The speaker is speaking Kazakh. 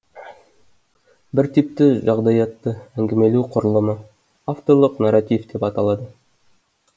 бір типті жағдаятты әңгімелеу құрылымы авторлық нарратив деп аталады